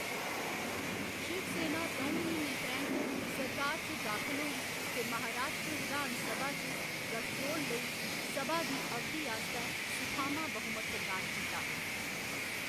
शिवसेना द'ऊं म्हीने परैंत्त सरकार च दाखल होई ते महाराश्ट्र विधान सभा च गठ जोड़ लेई, सभा दी अवधि आस्तै सुखामां बहुमत प्रदान कीता।